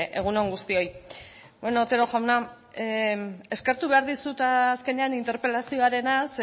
egun on guztioi bueno otero jauna eskertu behar dizut azkenean interpelazioarenaz